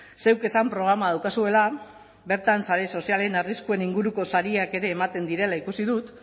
zeuk esan programa daukazuela bertan sare sozialen arriskuen inguruko sariak ere ematen direla ikusi dut